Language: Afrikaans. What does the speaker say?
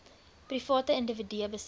private individue besit